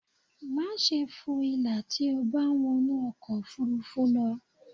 Máṣe fo ìlà tí o bá ń wọnú ọkọ̀ ofurufú lọ